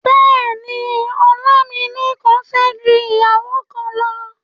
Bẹ́ẹ̀ni, Ọlámílékan fẹ́ ju ìyàwó kan lọ.